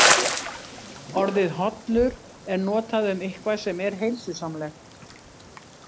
Orðið hollur er notað um eitthvað sem er heilsusamlegt.